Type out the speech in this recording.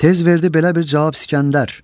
Tez verdi belə bir cavab İsgəndər: